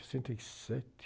sessenta e sete